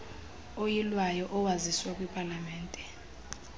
oyilwayo owaziswa kwipalamente